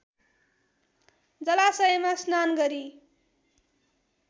जलाशयमा स्नान गरी